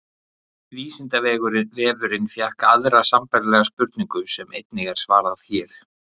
Vísindavefurinn fékk aðra sambærilega spurningu sem einnig er svarað hér.